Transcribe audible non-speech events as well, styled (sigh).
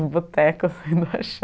o boteco assim do axé (laughs)